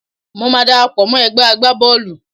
Mo máa darapọ̀ mọ́ ẹ̀gbẹ́ agbá Bọ́ọ̀lù.